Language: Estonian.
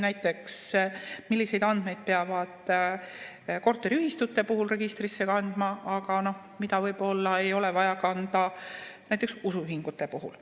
Näiteks, milliseid andmeid peab korteriühistute puhul registrisse kandma, aga mida võib-olla ei ole vaja kanda näiteks usuühingute puhul.